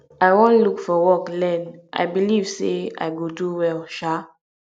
i wan look for work learn i believe say i go do well um